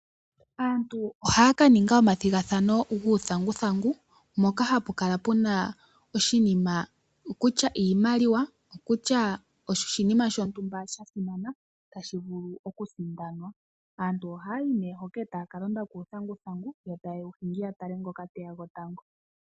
Aantu ohaya kaninga omathigathano guuthanguthangu, mpoka hapu kala puna iimaliwa nenge oshinima shontumba tashi vulu oku kala sha sindanwa. Aantu ohaya yi nee hoka taya kalonda kuuthanguthangu taye wu hingi, ya tale ngoka tathiki tango.